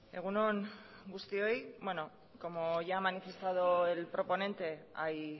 egun on guztioi como ya ha manifestado el proponente hay